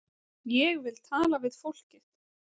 Ég vil tala við fólkið.